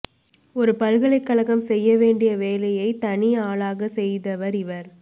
ஒரு பலகலைக்கழகம் செய்ய வேண்டிய வேலையை தனி ஆளாக செய்தவர் இவர்